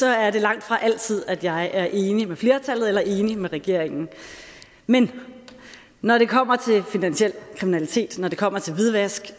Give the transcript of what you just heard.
er det langtfra altid at jeg er enig med flertallet eller enig med regeringen men når det kommer til finansiel kriminalitet når det kommer til hvidvask